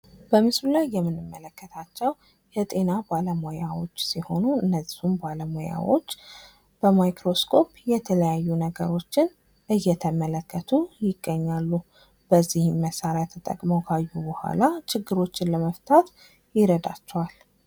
በምስሉ ላይ የምንመለከታቸው የጤና ባለሙያዎች ሲሆኑ እነሱም ብለሙያዎች በማይክሮእስኮፕ የተላያዩ ነገሮችን እየተመለከቱ ይገኛሉ:: በዚህም መሳሪያ ተጠቅመው ካዩ በሁላ ችግሮችን ለመፍታት ይረዳችዋል::